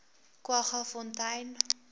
kwaggafontein